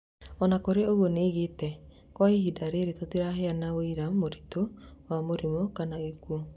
Onakũrĩ oroũguo nĩoigĩte "Kwa ihinda rĩrĩ tũtiraheana wũira mũritũ wa mũrimũ kana gĩkuo"